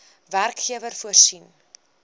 werkgewer voorsien